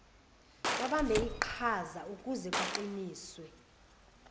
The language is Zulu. babambe iqhazaukuze kuqiniswe